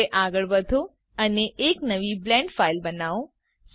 હવે આગળ વધો અને એક નવી બ્લેન્ડ બ્લેન્ડ ફાઈલ બનાવો